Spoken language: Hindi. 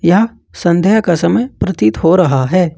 यह संध्या का समय प्रतीत हो रहा है।